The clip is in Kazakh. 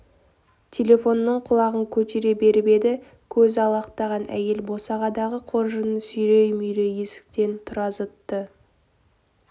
телефонның құлағын көтере беріп еді көзі алақтаған әйел босағадағы қоржынын сүйрей-мүйрей есіктен тұра зытты